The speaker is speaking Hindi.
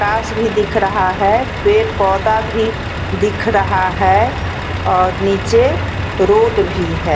तास भी दिख रहा हैं पेड़-पौधा भी दिख रहा हैं और नीचे रोड भी हैं।